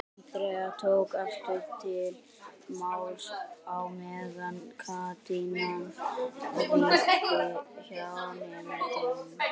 Andrea tók aftur til máls á meðan kátínan ríkti hjá nemendunum.